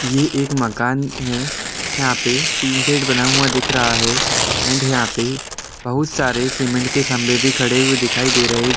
ये एक मकान है यहां पे तीनथ्थेड बना हुआ दिख रहा है एंड यहाँ पे बहुत सारे सीमेंट के खम्भें खड़े हुए दिखाई दे रहे --